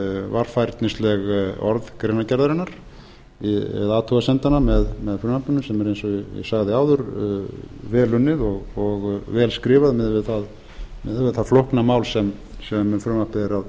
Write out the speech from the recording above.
varfærnisleg orð greinargerðinnar eða athugasemdanna með frumvarpinu sem er eins og ég sagði áður vel unnið og vel skrifað miðað við það flókna mál sem um